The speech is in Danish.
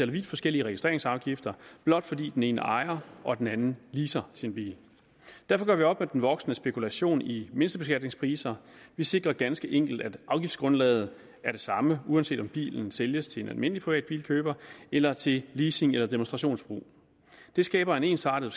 vidt forskellige registreringsafgifter blot fordi den ene ejer og den anden leaser sin bil derfor gør vi op med den voksende spekulation i mindstebeskatningspriser vi sikrer ganske enkelt at afgiftsgrundlaget er det samme uanset om bilen sælges til en almindelig privat bilkøber eller til leasing eller demonstrationsbrug det skaber en ensartet